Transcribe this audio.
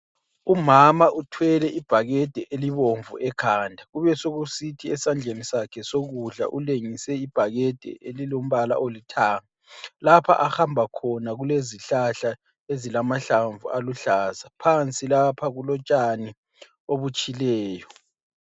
Umama uthwele ibhakede elibomvu ekhanda kubesekusithi esandleni sakhe sokudla ulengise ibhakede elilombala olithanga. Lapha ahamba khona kulezihlahla ezilamahlamvu aluhlaza. Phansi lapha kulotshani obutshileyo.